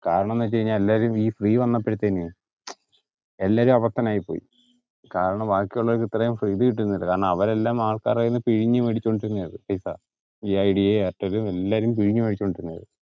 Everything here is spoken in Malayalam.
കാരണം ന്ന് വെച് കയിഞ്ഞാൽ എല്ലാരും ഈ free വന്നപ്പോഴനു മ്ചം എല്ലാരും അവിടത്തനായിപ്പോയി കാരണം ബാക്കി ഉള്ളവർക്ക് ഇത്രേം കിട്ടുന്നില്ല കാരണം അവർ എല്ലാം ആൾക്കാരുടെന്നു പിഴിഞ്ഞു മേടിച്ചോണ്ടിരുന്നതാ പൈസ ഈ ഐഡിയയും എയർടെല്ലും എല്ലാരും പിഴിഞ്ഞമേടിച്ചോണ്ടിരിക്ക